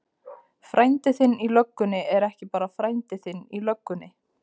Frændi þinn í löggunni er ekki bara frændi þinn í löggunni.